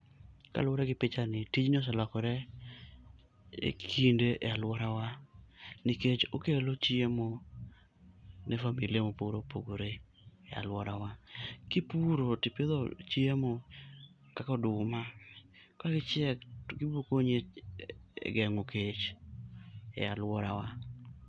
Kaluwore gi pichani, tijni oselokore e kinde e alworawa. Nikech okelo chiemo ne familia mopogore opogore e alworawa. Kipuro tipidho chiemo kakoduma, ka gichiek to gibokonyi e geng'o kech e alworawa.